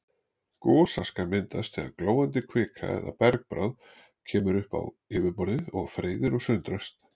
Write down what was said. Gosaska myndast þegar glóandi kvika eða bergbráð kemur upp á yfirborðið og freyðir og sundrast.